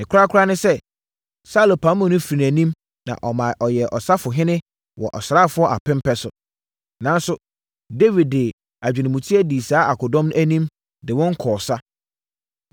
Ne korakora ne sɛ, Saulo pamoo no firi nʼanim na ɔma ɔyɛɛ ɔsafohene wɔ asraafoɔ apem pɛ so. Nanso, Dawid de adwenemuteɛ dii saa akodɔm no anim de wɔn kɔɔ sa.